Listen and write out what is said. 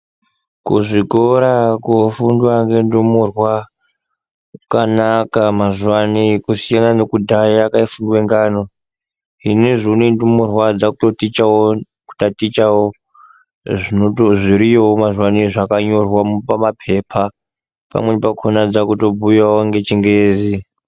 Kuzvikora kofundwa nendumurwa kwanaka mazuva anaya kusiyana nekudhara kwaifundwe ngano, zvinezvi unowu ndumurwa dzakutotatichawo zviriyo mazuvano izvi zvkanyorwa papepa pamweni pachona kutobhuyawo ngechingezi.